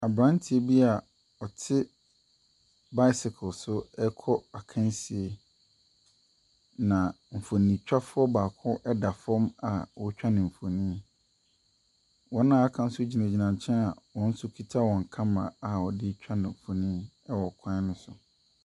Aberanteɛ bi a ɔte bicycle so rekɔ akansie. Na mfonintwafoɔ baako da fam a ɔretwa no mfonin. Wɔn a wɔaka no nso gyinagyina nkyɛn a wɔn nso kita wɔn camera a wɔde retwa no mfonin wɔ kwan no so.